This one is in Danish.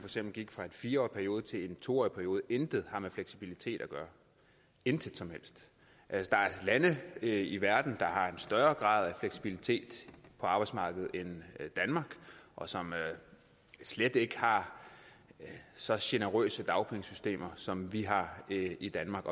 gik fra en fire årig periode til en to årig periode intet har med fleksibilitet at gøre intet som helst der er lande i verden der har en større grad af fleksibilitet på arbejdsmarkedet end danmark og som slet ikke har så generøst et dagpengesystem som vi har i danmark